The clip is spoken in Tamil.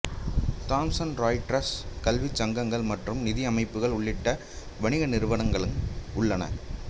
தாம்சன் ராய்ட்டர்ஸ் கல்விச் சங்கங்கள் மற்றும் நிதி அமைப்புகள் உள்ளிட்ட வணிக நிறுவனங்களும் உள்ளன